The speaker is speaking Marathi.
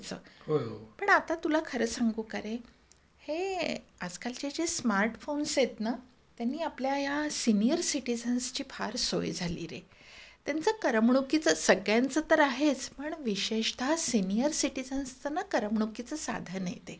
पण आता तुला खरं सांगू का रे, हे आजकाल चे जे स्मार्टफोन आहेत ना, त्यांनी आपल्या या सिनिअर सिटिझन्स ची फार सोय झाली रे .त्यांचं करमणुकीचं सगळ्यांचं तर आहेच पण विशेषतः सिनिअर सिटिझन्स च ना करमणुकीचं साधन आहे ते.